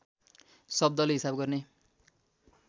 शब्दले हिसाब गर्ने